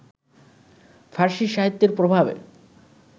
ফারসি সাহিত্যের প্রভাবে